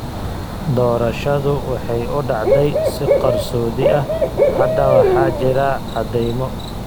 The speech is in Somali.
Doorashadu waxay u dhacday si qarsoodi ah. Hadda waxaa jira caddaymo.